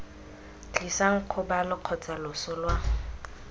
tlisang kgobalo kgotsa loso lwa